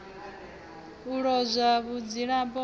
sa lozwa vhudzulapo hawe ha